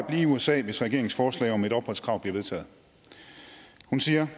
at blive i usa hvis regeringens forslag om et opholdskrav bliver vedtaget hun siger